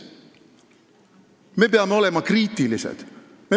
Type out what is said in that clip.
Me peame olema kriitilised.